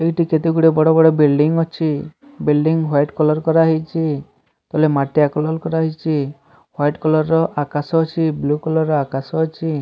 ଏଇଠି କେତେଗୁଡିଏ ବଡ଼ ବଡ଼ ବିଲଡିଂ ଅଛି ବିଲଡିଂ ହ୍ୱାଇଟ କଲର କରାହେଇଚି ତଳେ ମାଟିଆ କଲର କରାହେଇଚି ହ୍ୱାଇଟ କଲର ର ବ୍ଲୁ କଲର ର ଆକାଶ ଅଛି।